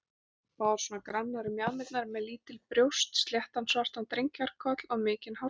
Báðar svona grannar um mjaðmirnar, með lítil brjóst, sléttan, svartan drengjakoll og mikinn hártopp.